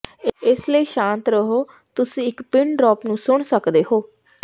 ਇਸ ਲਈ ਸ਼ਾਂਤ ਰਹੋ ਤੁਸੀਂ ਇੱਕ ਪਿੰਨ ਡ੍ਰੌਪ ਨੂੰ ਸੁਣ ਸਕਦੇ ਹੋ